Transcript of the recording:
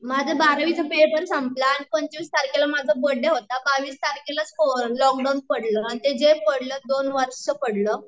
माझा बारावी चा पेपर संपला आणि पंचवीस तारखेला माझा बड्डे होता आणि बावीस तारखेला च करोना लॉकडाऊन पडलं, अन ते जे पडलं दोन वर्ष पडलं